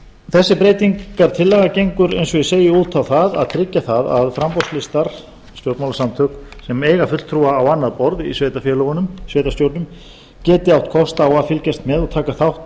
þessi breytingartillaga gengur eins og ég segi út á það að tryggja það að framboðslistar stjórnmálasamtök sem eiga fulltrúa á annað borð í sveitarfélögunum sveitarstjórnum geti átt kost á að fylgjast með og taka þátt